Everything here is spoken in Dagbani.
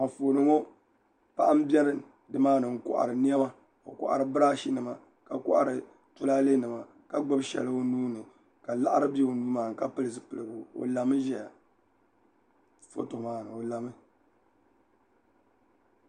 Anfooni ŋo paɣa n bɛ nimaani n kohari niɛma o kohari birash nima ka kohari tulaalɛ nima ka gbubi shɛli o nuuni ka laɣari bɛ o nuu maa ni ka pili zipiligu o lami ʒɛya foto maa ni